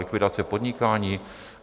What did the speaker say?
Likvidace podnikání?